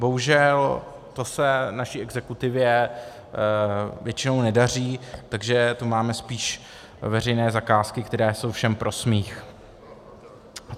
Bohužel to se naší exekutivě většinou nedaří, takže tu máme spíš veřejné zakázky, které jsou všem pro smích.